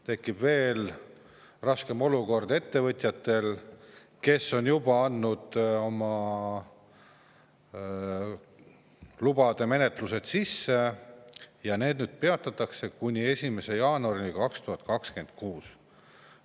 Tekib veel raskem olukord ettevõtjatel, kes on juba andnud oma lubade taotlused sisse, sest nüüd need menetlused peatatakse kuni 1. jaanuarini 2026.